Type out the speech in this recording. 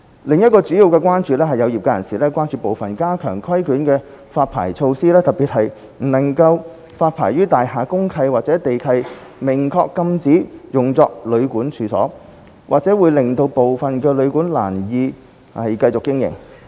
另一個主要關注，是有業界人士關注部分加強規管的發牌措施，特別是不能發牌予大廈公契或地契明確禁止用作旅館的處所，或會令致部分旅館難以繼續經營。